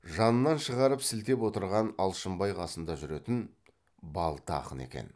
жанынан шығарып сілтеп отырған алшынбай қасында жүретін балта ақын екен